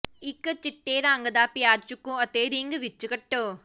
ਇਕ ਚਿੱਟੇ ਰੰਗ ਦਾ ਪਿਆਜ਼ ਚੁਕੋ ਅਤੇ ਰਿੰਗ ਵਿਚ ਕੱਟੋ